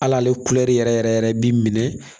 Hali ale yɛrɛ yɛrɛ yɛrɛ bi minɛ